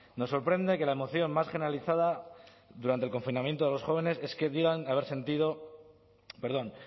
nos sorprende que la moción más generalizada durante el confinamiento de los jóvenes es que digan que habéis sentido perdón